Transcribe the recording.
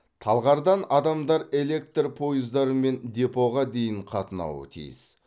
талғардан адамдар электр пойыздарымен депоға дейін қатынауы тиіс